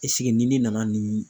ɛsike ni ne nana nin